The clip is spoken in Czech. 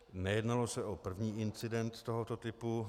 Nejednalo se o první incident tohoto typu.